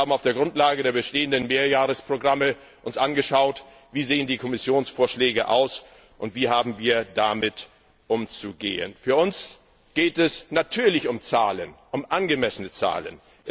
Wir haben uns auf der Grundlage der bestehenden Mehrjahresprogramme angeschaut, wie die Kommissionsvorschläge aussehen und wie wir damit umzugehen haben. Für uns geht es natürlich um Zahlen, um angemessene Zahlen.